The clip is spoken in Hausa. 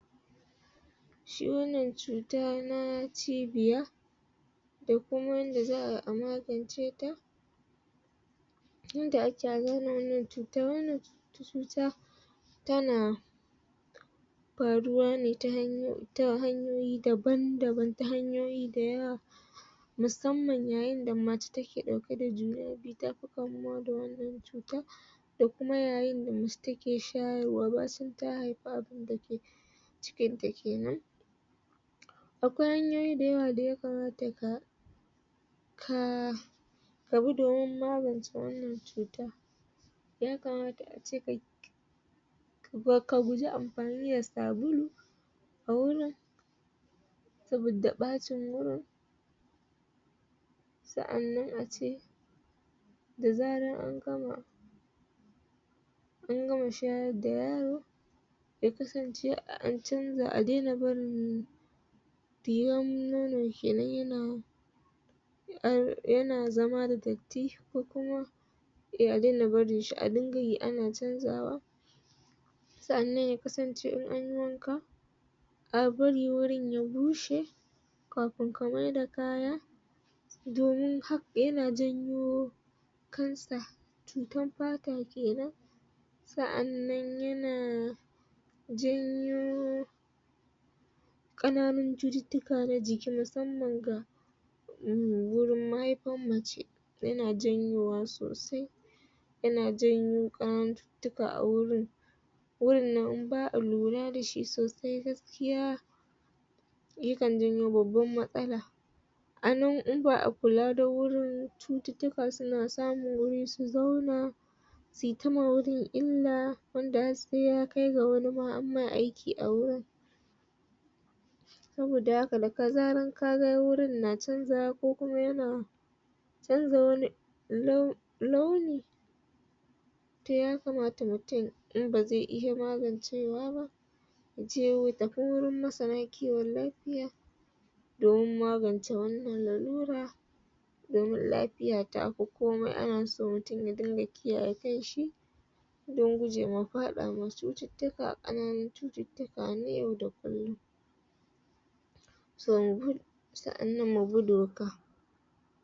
shi wannan chuta na cibiya da kuma wanda zaa a makance ta tunda a ke chuta, wannan chuchuta ta na faruwa ne ta hanyo, ta hanyoyi daban-daban, ta hanyoyi dayawa musamman ya yin da macce ta ke dauke da juna biyu tafi kamuwa da wannan chuta da kuma yayin da macce ta ke shayarwa cikin ta kenan akwai hanyoyi dayawa da ya kamata ka kaya da gudumar magance wannan chuta, ya kamata a ce ka ka gujje amfani da sabulu a wurin sabida bacin wurin tsaannan a ce, dazaran an gama an gamar shayar da yaro ya kasance an canza a dena barin piyan nono kenan ya na kar, ya na zama da datti ko kuma a dena barin shi, a dinga yi a na canzawa tsannan ya kasance an yi wanka a bari wurin ya bushe, kafun ka maida kaya domin ha ya na janyo cancer, chutan pata kenan, tsaannan ya na janyo kananun chututuka na jiki musamman ga umm wurin maaifar na macce, ya na janyowa sosai yana janyo kananar chutuuka a wurin wurin in baa lura da shi sosai gaskiya ya kan janyo babban matsala a nan in baa kulla dan wurin chututuka su na samun wuri su zauna su yi da ma wurin illa wanda har sai ya kai ga wurin a ma aiki a wurin saboda haka ka ga wurin na canzawa ko kuma ya na sai ka ga wani toh ya kamata mutum, in ba zai iyya magancewa ba da ko wurin masara kiwon lafiya dan ma ban ce wannan laura domin lafiya ta, komi a na so mutum ya dinga kiyaye kanshi dan gujje ma fada ma chututuka kananu, chututuka ne yau da kullum tsaanan mugudu haka.